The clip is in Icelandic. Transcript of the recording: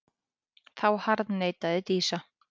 Þá harðneitaði Dísa.